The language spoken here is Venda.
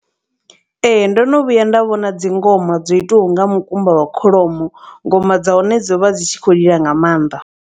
Ee ndono vhuya nda vhona dzi ngoma dzo itiwaho nga mukumba wa kholomo ngoma dza hone dzo vha dzi tshi khou lila nga maanḓa.